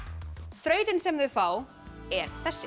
þrautin sem þau fá er þessi